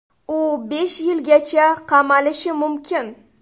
U besh yilgacha qamalishi mumkin.